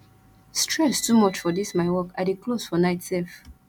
stress too much for dis my work i dey close for night sef